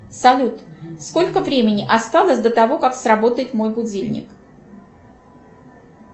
салют сколько времени осталось до того как сработает мой будильник